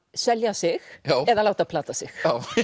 selja sig eða láta plata sig